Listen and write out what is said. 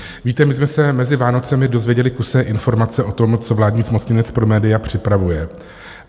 Víte, my jsme se mezi Vánocemi dozvěděli kusé informace o tom, co vládní zmocněnec pro média připravuje.